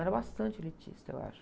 Era bastante elitista, eu acho.